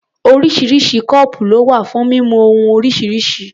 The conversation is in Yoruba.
Oríṣiríṣi kọ́ọ̀pù ló wà fún mímu ohun oríṣiríṣi.